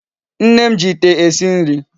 Nne m ji Ite esi nri